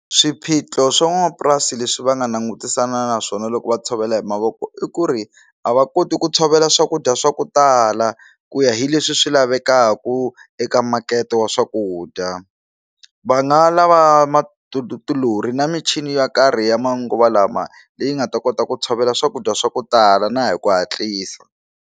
Swiphiqo swa n'wanamapurasi leswi va nga langutisana na swona loko va tshovela hi mavoko i ku ri a va koti ku tshovela swakudya swa ku tala ku ya hi leswi swi lavekaku eka makete wa swakudya va nga lava ma ti ti tilori na michini ya karhi ya manguva lama leyi nga ta kota ku tshovela swakudya swa ku tala na hi ku hatlisa.